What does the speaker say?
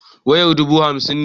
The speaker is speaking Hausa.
Wayar dubu hamsin ne.